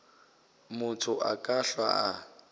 motho a ka hlwa a